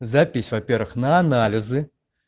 запись во-первых на анализы